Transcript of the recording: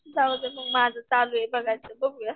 राहूदे मग माझं चालू ये बघायचं बघूया.